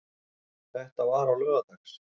Þetta var á laugardags